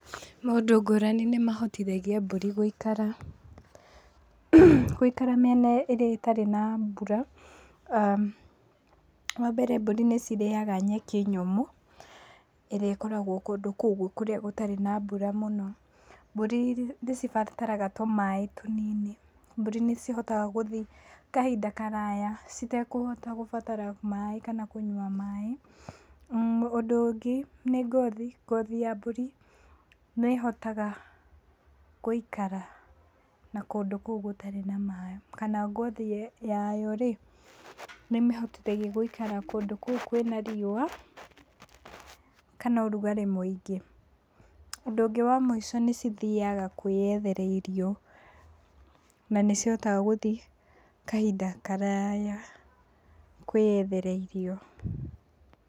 Maũndũ ngũrani nĩ mahotithagia mbũri gũikara, gũikara mĩena ĩrĩa ĩtarĩ na mbura. Wa mbere mbũri nĩ cirĩaga nyeki nyũmũ ĩrĩa ĩkoragũo kũndũ kũu gũtarĩ na mbura mũno. Mbũri nĩ cibataraga tũmaaĩ tũnini. Mbũri nĩ cihotaga gũthii kahinda karaya citekũhota gũbatara maaĩ kana kũnyua maaĩ. Ũndũ ũngĩ nĩ ngothi, ngothi ya mbũri nĩ hotaga gũikara na kũndũ kũu gũtarĩ na maaĩ, kana ngothi yayo rĩ nĩ mĩhotithagia gũikara kũndũ kũu gũtarĩ na riũa, kana ũrugarĩ mũingĩ. Ũndũ ũngĩ wa mũico nĩ cithiaga kwĩyethera irio na nĩ cihotaga gũthii kahinda karaya kwĩyethera irio.